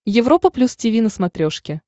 европа плюс тиви на смотрешке